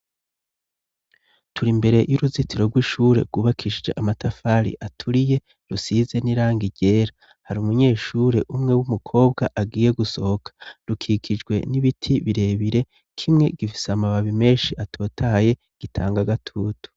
Turi imbere y'uruzitiro rwishure rwubakishije amatafari aturiye rusize n'irangi ryera hari umunyeshure umwe w'umukobwa agiye gusohoka, rukikijwe n'ibiti birebire kimwe gifise amababi menshi atotaye gitanga agatutu.